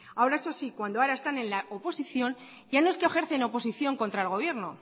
ahora eso sí cuando ahora están en la oposición ya no es que ejercen oposición contra el gobierno